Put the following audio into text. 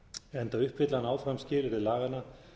enda uppfylli hann áfram skilyrði laganna